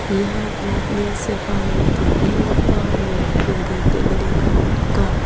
ia biapni sepango dal·begipa nok bilding ge·gniko nika.